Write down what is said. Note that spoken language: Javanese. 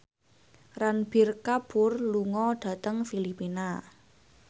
Ranbir Kapoor lunga dhateng Filipina